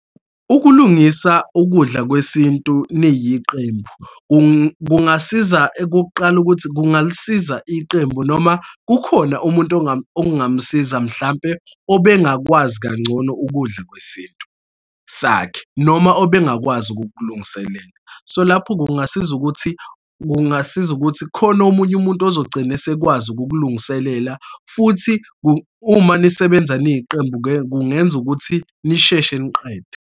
Ukulungisa ukudla kwesintu niyiqembu kungasiza, ekokuqala ukuthi kungalisiza iqembu noma kukhona umuntu okungamsiza, mhlampe obengakwazi kangcono ukudla kwesintu sakhe, noma obengakwazi ukukulungiselela. So, lapho kungasiza ukuthi, kungasiza ukuthi khona omunye umuntu ozogcina esekwazi ukukulungiselela. Futhi uma nisebenza niyiqembu-ke kungenza ukuthi nisheshe niqede.